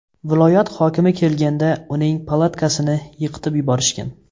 Viloyat hokimi kelganda uning palatkasini yiqitib yuborishgan.